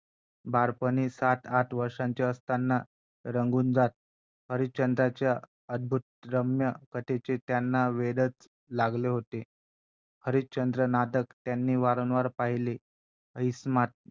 आणि मग ते घर सांभाळणं असो किंवा स्वतःच Career सांभाळणं असो किंवा मग बाहेर जाऊन आपलं.